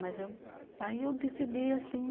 Mas aí eu, aí decidi assim...